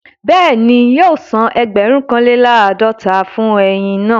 Bẹ́ẹ̀ni, yóò san ẹgbẹ̀rún kan lé làádọ́ta fún eyin náà